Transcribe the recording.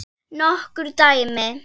Nokkur dæmi?